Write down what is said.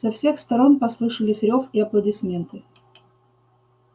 со всех сторон послышались рёв и аплодисменты